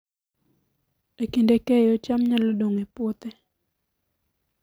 E kinde keyo, cham nyalo dong' e puothe